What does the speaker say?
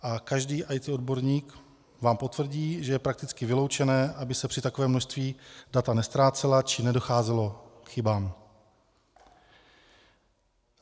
A každý IT odborník vám potvrdí, že je prakticky vyloučené, aby se při takovém množství data neztrácela, či nedocházelo k chybám.